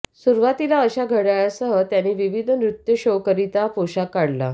सुरुवातीला अशा घड्याळासह त्यांनी विविध नृत्य शोांकरिता पोशाख काढला